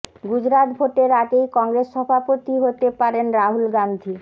গুজরাত ভোটের আগেই কংগ্রেস সভাপতি হতে পারেন রাহুল গান্ধি